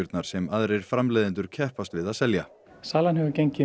sem aðrir framleiðendur keppast við að selja salan hefur gengið